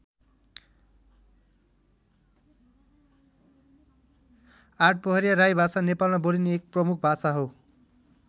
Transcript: आठपहरिया राई भाषा नेपालमा बोलिने एक प्रमुख भाषा हो।